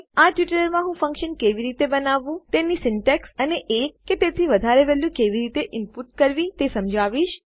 આ ટ્યુટોરીયલમાં હું ફંક્શન કેવી રીતે બનાવવું તેની સીન્ટેક્ષ અને એક કે તેથી વધારે વેલ્યુ કેવી રીતે ઇનપુટ કરવી તે સમજાવીશ